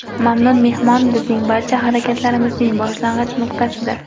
Mamnun mehmon - bizning barcha harakatlarimizning boshlang‘ich nuqtasidir.